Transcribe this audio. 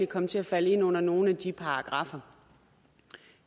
komme til at falde ind under nogle af de paragraffer